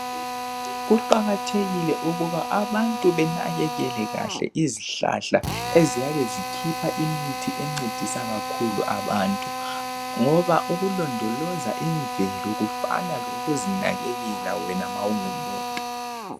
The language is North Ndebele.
Kuqakathekile ukuba abantu banekekele kahle izihlahla eziyabe zikhipha imithi encedisa kakhulu abantu ngoba ukulondoloza imvelo kufana lokuzinakelela wena ma ungumuntu.